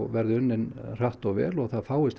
verði unnin hratt og vel og það fáist